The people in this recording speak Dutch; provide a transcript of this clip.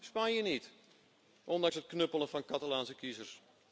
Spanje niet, ondanks het knuppelen van Catalaanse kiezers.